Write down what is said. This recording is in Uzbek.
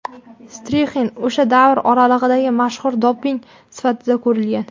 Strixnin o‘sha davr oralig‘idagi mashhur doping sifatida ko‘rilgan.